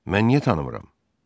Mən niyə tanımıram?